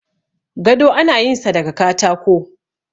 gado ana yin sa daga katako